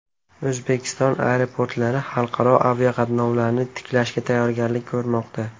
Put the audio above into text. O‘zbekiston aeroportlari xalqaro aviaqatnovlarni tiklashga tayyorgarlik ko‘rmoqda.